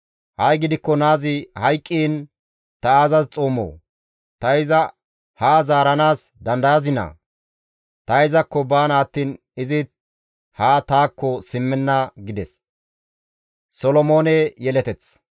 Ha7i gidikko naazi hayqqiin ta aazas xoomoo? Ta iza haa zaaranaas dandayazinaa? Ta izakko baana attiin izi haa taakko simmenna!» gides.